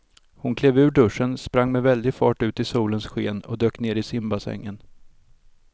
Hon klev ur duschen, sprang med väldig fart ut i solens sken och dök ner i simbassängen.